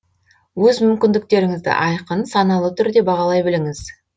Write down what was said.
өз мүмкіндіктеріңізді айқын саналы түрде бағалай біліңіз